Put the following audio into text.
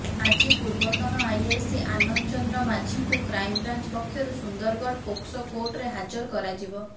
ଆଜି ପୂର୍ବତନ ଆଇଆଇସି ଆନନ୍ଦ ଚନ୍ଦ୍ର ମାଝୀଙ୍କୁ କ୍ରାଇମବ୍ରାଞ୍ଚ ପକ୍ଷରୁ ସୁନ୍ଦରଗଡ଼ ପୋକ୍ସୋ କୋର୍ଟରେ ହାଜର କରାଯିବ